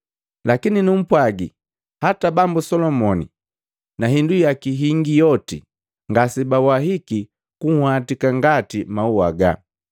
Lakini numpwagi, hata Bambu Solomoni na hindu yaki hingi yoti, ngasebawahiki kunhwatika ngati maua haga.